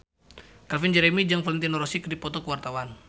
Calvin Jeremy jeung Valentino Rossi keur dipoto ku wartawan